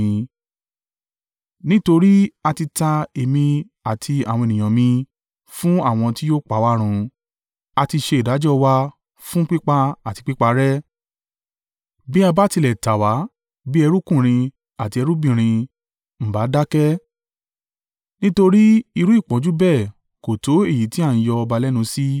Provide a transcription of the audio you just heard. Nítorí a ti ta èmi àti àwọn ènìyàn mi fún àwọn tí yóò pa wá run, à ti ṣe ìdájọ́ wa fún pípa àti píparẹ́. Bí a bá tilẹ̀ tà wá bí ẹrúkùnrin àti ẹrúbìnrin, ǹ bá dákẹ́, nítorí irú ìpọ́njú bẹ́ẹ̀ kò tó èyí tí à ń yọ ọba lẹ́nu sí.”